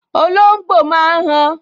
Olóngbò máa n han